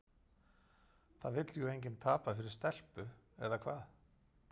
Það vill jú enginn tapa fyrir stelpu, eða hvað?